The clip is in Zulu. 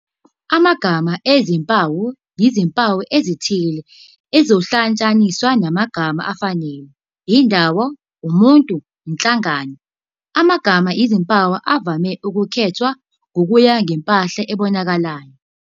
Amagama ezimpawu yizimpawu ezithile ezihlotshaniswa namagama afanele, indawo, umuntu, inhlangano. Amagama ezimpawu avame ukukhethwa ngokuya ngempahla ebonakalayo.